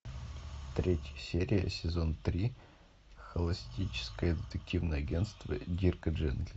третья серия сезон три холистическое детективное агентство дирка джентли